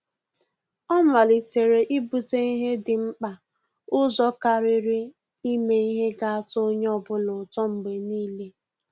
Ọ́ màlị́tèrè íbùtè ihe dị̀ mkpa ụzọ kàrị́rị́ ímé ihe gà-àtọ́ onye ọ bụla ụ́tọ́ mgbe nìile.